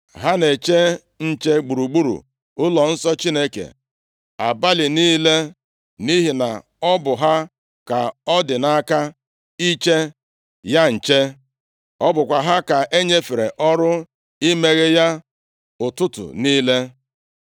Ha na-eche nche gburugburu ụlọnsọ Chineke abalị niile, nʼihi na ọ bụ ha ka ọ dị nʼaka iche ya nche. Ọ bụkwa ha ka e nyefere ọrụ imeghe ya ụtụtụ niile.